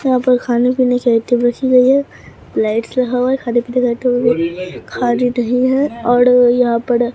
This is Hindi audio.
यहां पर खाने पीने का आइटम रखी गई है लाइट्स लगा हुआ है खाने पीने का आइटम खाने नहीं है और यहां पड़ ।